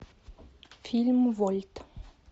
фильм вольт